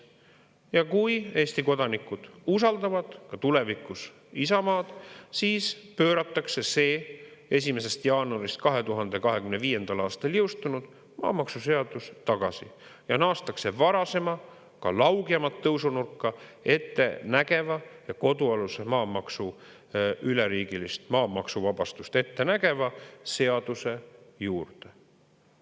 Ja kui Eesti kodanikud usaldavad ka tulevikus Isamaad, siis pööratakse see 1. jaanuarist 2025. aastal jõustunud maamaksuseadus tagasi ja naastakse varasema, ka laugemat tõusu nurka ette nägeva ja kodualuse maamaksu üleriigilist maamaksuvabastust ette nägeva seaduse juurde.